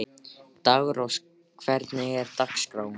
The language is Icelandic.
Daggrós, hvernig er dagskráin?